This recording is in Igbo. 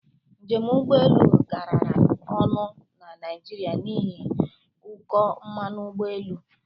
Njem ụgbọ elu garara ọnụ na Naijiria n'ihi ụkọ mmanụ ụgbọ elu.